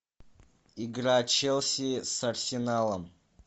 игра челси с арсеналом